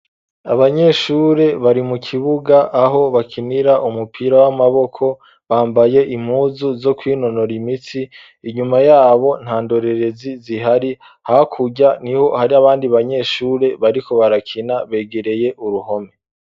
Abanyeshure bari mu kibuga aho bakinira umupira w'amaboko, bambaye imuzu zo kwinonora imitsi, inyuma y'abo nta ndorerezi zihari, hakurya niho hari abandi banyeshure bariko barakina, begereye uruhome.